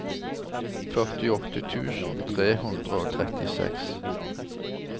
førtiåtte tusen tre hundre og trettiseks